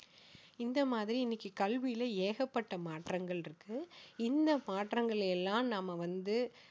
இந்த மாதிரி இன்னைக்கு கல்வியில ஏகப்பட்ட மாற்றங்கள் இருக்கு இந்த மாற்றங்களை எல்லாம் நாம வந்து